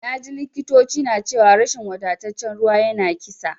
Naji likitoci na cewa rashin wadataccen ruwa yana kisa.